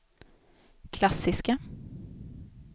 klassiska